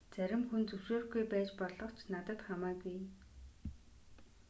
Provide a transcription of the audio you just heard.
зарим хүн зөвшөөрөхгүй байж болох ч надад хамаагүй